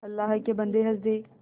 अल्लाह के बन्दे हंस दे